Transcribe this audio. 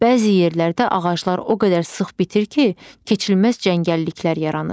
Bəzi yerlərdə ağaclar o qədər sıx bitir ki, keçilməz cəngəlliklər yaranır.